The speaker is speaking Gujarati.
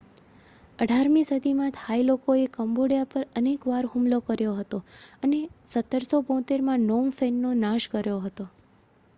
18મી સદીમાં થાઈ લોકોએ કંબોડિયા પર અનેક વાર હુમલો કર્યો હતો અને 1772માં નોમ ફેનનો નાશ કર્યો હતો